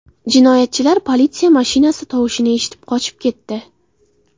Jinoyatchilar politsiya mashinasi tovushini eshitib, qochib ketdi.